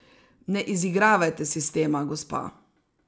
Ne izigravajte sistema, gospa.